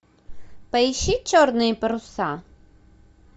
поищи черные паруса